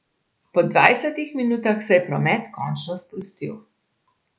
Po dvajsetih minutah se je promet končno sprostil.